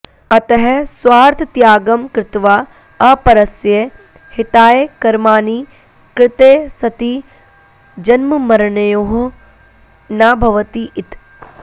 अतः स्वार्थत्यागं कृत्वा अपरस्य हिताय कर्माणि कृते सति जन्ममरणयोः न भवति इति